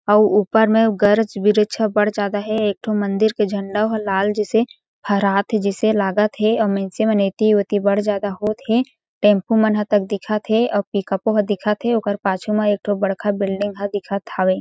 अउ ऊपर में गरच-बिरच ह बड़ ज्यादा हें एक ठो मंदिर के झंडा ह लाल जइसे फहरात हे जइसे लागत हें अउ मइनसे मन एति ओती बढ़ ज़्यादा होत हें टेम्पू मनहा तक दिखत हें अउ पिक अप ओ ह दिखत हे ओकर पाछू म एक ठो बड़खा बिल्डिंग ह दिखत हावे।